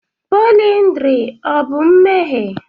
pọlyndrị ọ bụ mmehie?